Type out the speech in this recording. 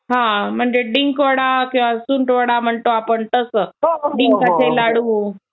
हां. म्हणजे डिंकवडा, सुंठवडा म्हणतो आपण तसं? डिंकाचे लाडू